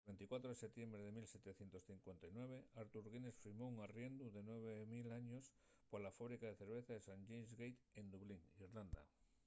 el 24 de setiembre de 1759 arthur guinness firmó un arriendu de 9 000 años pola fábrica de cerveza de st james' gate en dublín irlanda